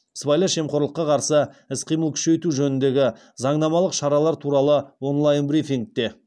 сыбайлас жемқорлыққа қарсы іс қимылды күшейту жөніндегі заңнамалық шаралар туралы онлайн брифингте